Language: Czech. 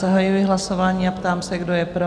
Zahajuji hlasování a ptám se, kdo je pro?